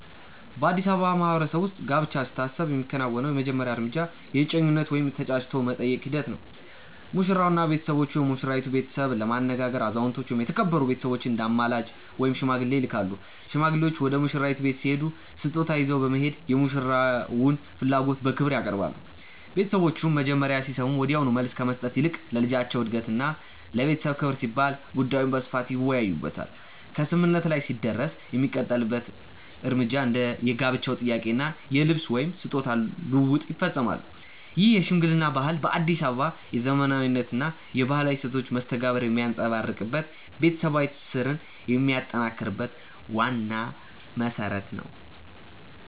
በአዲስ አበባ ማህበረሰብ ውስጥ ጋብቻ ሲታሰብ የሚከናወነው የመጀመሪያው እርምጃ የእጮኝነት ወይም የ"ተጫጭቶ የመጠየቅ" ሂደት ነው። ሙሽራውና ቤተሰቦቹ የሙሽራይቱን ቤተሰብ ለማነጋገር አዛውንቶችን ወይም የተከበሩ ቤተሰቦችን እንደ አማላጅ (ሽማግሌ) ይልካሉ። ሽማግሌዎቹ ወደ ሙሽራይቱ ቤት ሲሄዱ ስጦታ ይዘው በመሄድ የሙሽራውን ፍላጎት በክብር ያቀርባሉ። ቤተሰቦቹም መጀመሪያ ሲሰሙ ወዲያውኑ መልስ ከመስጠት ይልቅ ለልጃቸው እድገትና ለቤተሰብ ክብር ሲባል ጉዳዩን በስፋት ይወያዩበታል። ከስምምነት ላይ ሲደረስ የሚቀጥሉት እርምጃዎች እንደ የጋብቻ ጥያቄ እና የልብስ/ስጦታ ልውውጥ ይፈጸማሉ። ይህ የሽምግልና ባህል በአዲስ አበባ የዘመናዊነትና የባህላዊ እሴቶች መስተጋብር የሚንጸባረቅበት፣ ቤተሰባዊ ትስስርን የሚያጠናክር ዋና መሰረት ነው።